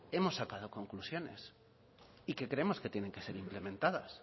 hemos sacado conclusiones y que creemos que tienen que ser incrementadas